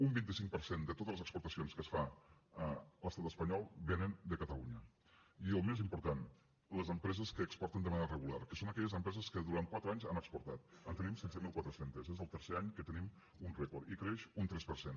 un vint cinc per cent de totes les exportacions que es fan a l’estat espanyol vénen de catalunya i el més important les empreses que exporten de manera regular que són aquelles empreses que durant quatre anys han exportat en tenim setze mil quatre cents és el tercer any que tenim un rècord i creix un tres per cent